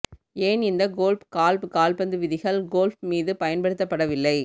ஏன் இந்த golf golf கால்பந்து விதிகள் கோல்ஃப் மீது பயன்படுத்தப்படவில்லை